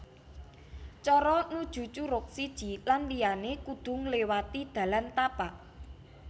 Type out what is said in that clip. Cara nuju curug siji lan liyané kudu ngléwati dalan tapak